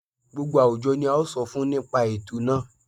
Gbogbo àwùjọ ni a ó sọ fún nípa ètò náà